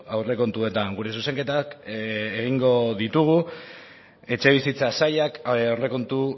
aurrekontuetan gure zuzenketak egingo ditugu etxebizitza sailak aurrekontu